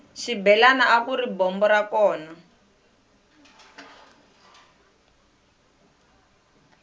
xibelani akuri bombo ra kona